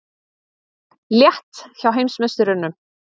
Létt hjá heimsmeisturunum